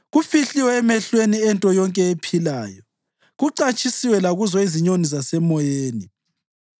Kufihliwe emehlweni ento yonke ephilayo, kucatshisiwe lakuzo izinyoni zasemoyeni.